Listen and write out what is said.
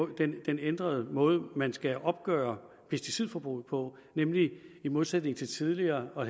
den den ændrede måde man skal opgøre pesticidforbruget på nemlig i modsætning til tidligere hvor